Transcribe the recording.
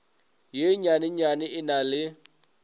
ye nnyanenyane e na le